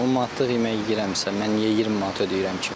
10 manatlıq yemək yeyirəmsə, mən niyə 20 manat ödəyirəm ki?